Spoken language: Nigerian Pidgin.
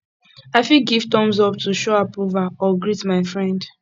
i fit give thumbs up to show approval or greet my friend